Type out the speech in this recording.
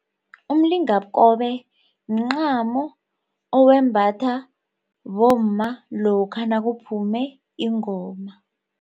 Umlingakobe mncamo owembatha bomma lokha nokuphume ingoma.